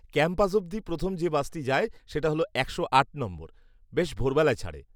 Campus অবধি প্রথম যে বাসটি যায় সেটা হল একশো আট নম্বর, বেশ ভোরবেলায় ছাড়ে।